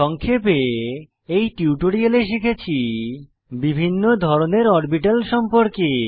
সংক্ষেপে এই টিউটোরিয়ালে শিখেছি বিভিন্ন ধরনের অরবিটাল সম্পর্কে